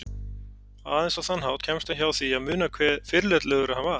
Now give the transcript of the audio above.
Aðeins á þann hátt kemst hann hjá því að muna hve fyrirlitlegur hann er.